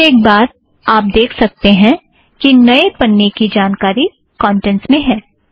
फ़िर एक बार आप देख सकते हो कि नए पन्ने की जानकारी कौंटेंट्स में हैं